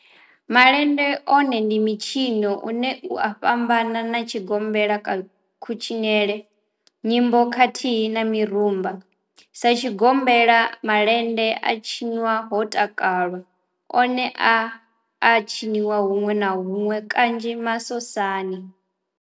Malende one ndi mitshino ine ya fhambana na tshigombela kha kutshinele nyimbo khathihi na mirumba. Sa tshigombela malende a tshinwa ho takalwa one a a tshiniwa hunwe na hunwe kanzhi masosani.